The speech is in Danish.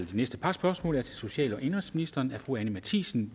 de næste par spørgsmål er til social og indenrigsministeren af fru anni matthiesen